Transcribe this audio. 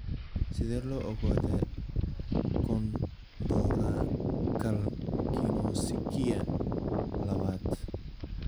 Sidee loo ogaadaa chondrocalcinosika labaad?